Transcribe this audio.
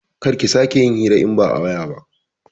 Kar ki sake yin hira in ba a waya ba